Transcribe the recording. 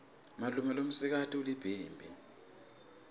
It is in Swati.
malume lomsikati ulibhimbi